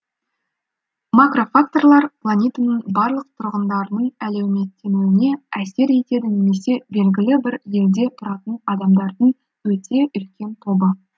макрофакторлар планетаның барлық тұрғындарының әлеуметтенуіне әсер етеді немесе белгілі бір елде тұратын адамдардың өте үлкен тобы